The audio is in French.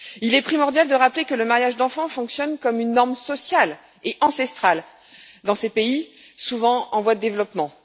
Il est primordial de rappeler que le mariage des enfants fonctionne comme une norme sociale et ancestrale dans ces pays, souvent en voie de développement.